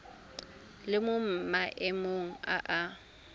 le mo maemong a a